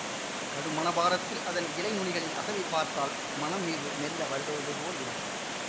கடும் மனபாரத்தில் அதன் இலை நுனிகளின் அசைவைப் பார்த்தால் மனம்மீது மெல்ல வருடுவதுபோல இருக்கும்